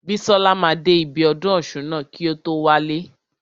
Bísọ́la máa dé ibi ọdún ọ̀ṣun ná kí o tó wálé.